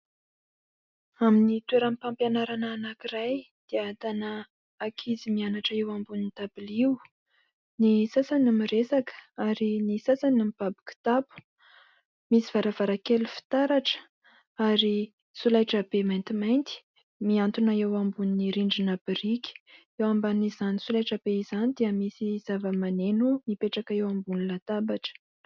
Amin' ny toeram-pampianarana anankiray dia ahitana ankizy mianatra eo ambonin' ny dabilio. Ny sasany miresaka ary ny sasany mibaby kitapo. Misy varavarankely fitaratra ary solaitra be maintimainty mihantona eo ambonin' ny rindrina birika, eo ambanin' izany solaitra be izany dia misy zava-maneno mipetraka eo ambonin' ny latabatra.